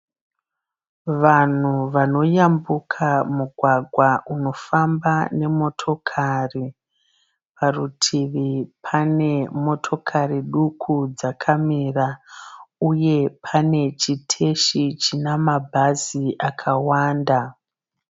Vanhu vanoyambuka mugwagwa unofamba nemotokari. Parutivi pane motokari duku dzakamira uye pane chiteshi chinamabhazi akawanda.